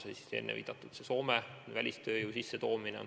Juba sai viidatud Soome loale välistööjõudu sisse tuua.